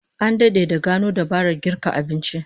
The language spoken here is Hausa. An dade da gano dabarar girka abinci